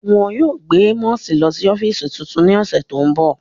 Wọn yóò gbe Amosi lọ si ọfiisi tuntun ni ọsẹ ti n bọ.